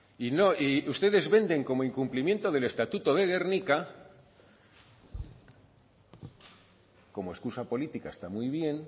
y no y ustedes venden como incumplimiento del estatuto de gernika como excusa política está muy bien